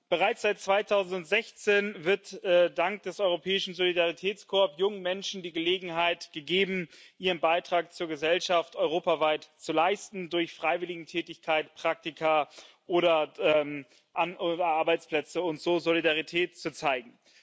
Bereits seit 2016 wird dank des Europäischen Solidaritätskorps jungen Menschen die Gelegenheit gegeben, ihren Beitrag zur Gesellschaft europaweit zu leisten, durch Freiwilligentätigkeit, Praktika oder an ihren Arbeitsplätzen, und so Solidarität zu zeigen.